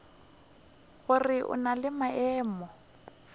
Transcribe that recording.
gore o na le maemo